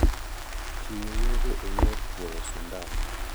chiwo yedhe e yor chwuyosindan.